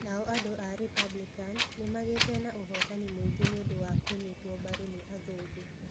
Nao andũ a Republican, nĩ magĩte na ũhotani mũingĩ nĩ ũndũ wa kũnyitwo mbaru nĩ athũngũ.